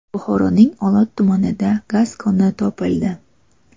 Buxoroning Olot tumanida gaz koni topildi .